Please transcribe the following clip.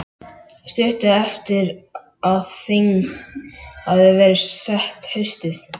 Stuttu eftir að þing hafði verið sett haustið